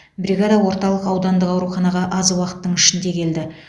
бригада орталық аудандық ауруханаға аз уақыттың ішінде келді